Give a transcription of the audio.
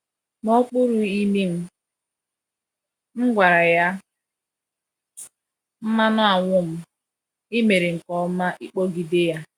N’okpuru imi m, m gwara ya, "mmanuanwum, i mere nke ọma ịkpọgide ya!"